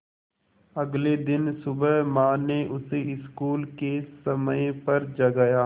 अगले दिन सुबह माँ ने उसे स्कूल के समय पर जगाया